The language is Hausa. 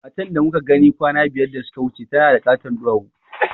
Matan da muka gani kwana biyar da suka wuce tana da ƙaton duwawu